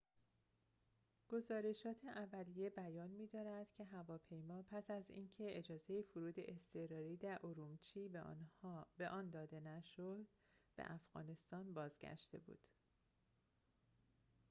گزارشات اولیه بیان می‌دارد که هواپیما پس از اینکه اجازه فرود اضطراری در اورومچی به آن داده نشده به افغانستان بازگشته بود